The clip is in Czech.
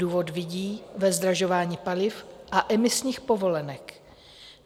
Důvod vidí ve zdražování paliv a emisních povolenek.